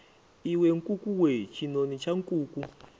iwe nkukuwe tshinoni tsha nkuku